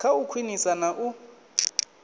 kha u khwinisa na u